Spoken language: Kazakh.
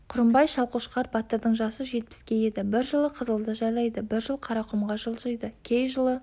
құрымбай шалқошқар батырдың жасы жетпіске еді бір жыл қызылды жайлайды бір жыл қарақұмға жылжиды кей жылы